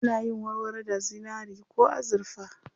Ana yin warwaro da zinari ko azurfa.